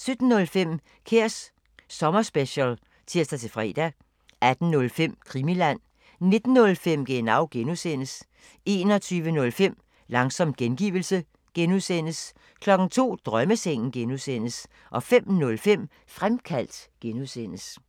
17:05: Kræs sommerspecial (tir-fre) 18:05: Krimiland 19:05: Genau (G) 21:05: Langsom gengivelse (G) 02:00: Drømmesengen (G) 05:05: Fremkaldt (G)